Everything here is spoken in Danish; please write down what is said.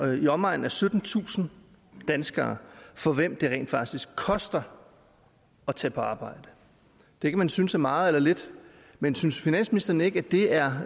i omegnen af syttentusind danskere for hvem det rent faktisk koster at tage på arbejde det kan man synes er meget eller lidt men synes finansministeren ikke at det er